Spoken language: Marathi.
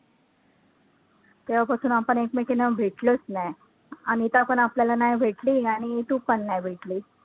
तेव्हापासून आपण ऐकमेकींना भेटलोच नाही. अनिता आपल्याला नाही भेटली आणि तु पण नाही भेटलीस.